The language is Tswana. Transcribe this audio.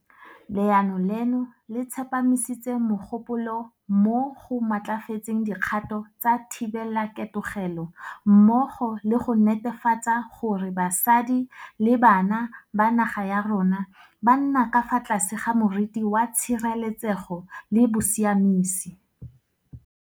Leano leno le tsepamisitse mogopolo mo go matlafatseng dikgato tsa thibelaketegelo, mmogo le go netefatsa gore basadi le bana ba naga ya rona ba nna ka fa tlase ga moriti wa tshireletsego le bosiamisi.